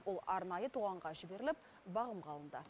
ол арнайы тоғанға жіберіліп бағымға алынды